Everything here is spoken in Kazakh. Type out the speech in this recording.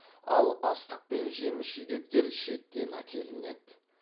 ал астық пен жеміс жидектер шеттен әкелінеді